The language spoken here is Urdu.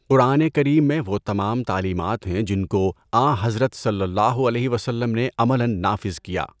قرآن کریم میں وہ تمام تعلیمات ہیں جن کو آں حضرت صلی اللہ علیہ وسلم نے عملاً نافذ کیا۔